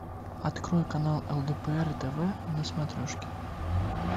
открой канал лдпр тв на смотрешке